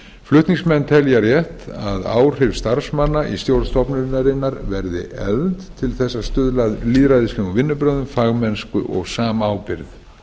flutningsmenn telja rétt að áhrif starfsmanna í stjórn stofnunarinnar verði efld til að stuðla að lýðræðislegum vinnubrögðum fagmennsku og samábyrgð í fjórða grein